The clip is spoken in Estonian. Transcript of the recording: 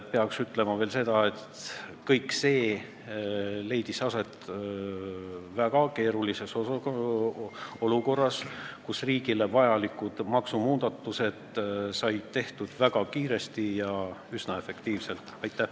Peaks ütlema veel seda, et kõik see leidis aset väga keerulises olukorras, kus riigile vajalikud maksumuudatused said tehtud väga kiiresti ja üsna efektiivselt.